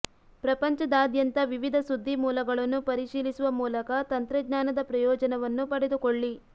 ಪ್ರಪಂಚದಾದ್ಯಂತ ವಿವಿಧ ಸುದ್ದಿ ಮೂಲಗಳನ್ನು ಪರಿಶೀಲಿಸುವ ಮೂಲಕ ತಂತ್ರಜ್ಞಾನದ ಪ್ರಯೋಜನವನ್ನು ಪಡೆದುಕೊಳ್ಳಿ